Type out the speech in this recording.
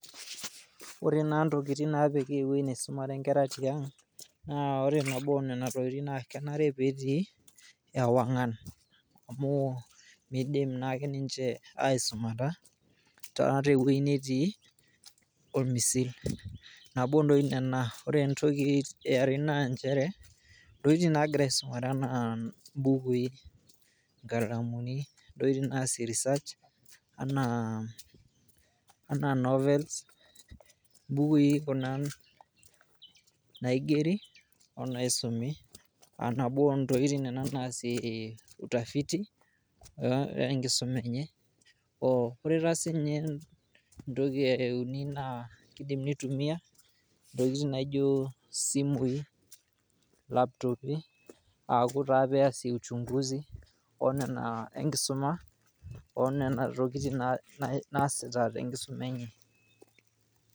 Ore naa ntokitin naapiki ewueji naisumare inkera tiang naa ore nabo onena tokitin naa kenare petii ewangan amu midim naake ninche aisumata taa tewuei netii ormisil nabo doi Nena. Ore entoki eare naa nchere ntokitin nagira aisumare anaa mbukui ,nkalamuni, ntokitin naasie research anaa novels ,mbukui Kuna naigeri onaisumi nabo oontokitin Nena naasie utafiti enkisuma enye .